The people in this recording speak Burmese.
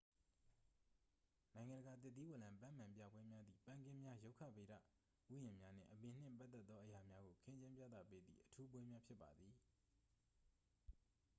နိုင်ငံတကာ သစ်သီးဝလံပန်းမန်ပြပွဲများသည် ပန်းခင်းများ ရုက္ခဗေဒဥယျာဉ်များနှင့် အပင်နှင့်ပတ်သက်သော အရာများကို ခင်းကျင်းပြသပေးသည့် အထူးပွဲများ ဖြစ်ပါသည်